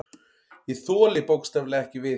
Ég þoli bókstaflega ekki við.